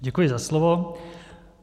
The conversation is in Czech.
Děkuji za slovo.